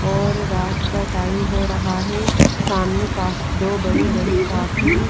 और रात का टाइम हो रहा है सामने काफ दो बड़े बड़े काफी--